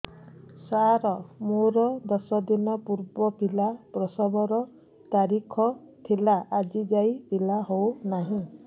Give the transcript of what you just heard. ସାର ମୋର ଦଶ ଦିନ ପୂର୍ବ ପିଲା ପ୍ରସଵ ର ତାରିଖ ଥିଲା ଆଜି ଯାଇଁ ପିଲା ହଉ ନାହିଁ